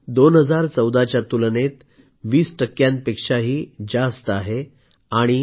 ही संख्या 2014च्या तुलनेत 20 टक्क्यांपेक्षाही जास्त आहे